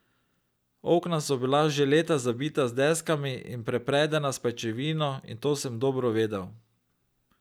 Okna so bila že leta zabita z deskami in prepredena s pajčevino in to sem dobro vedel.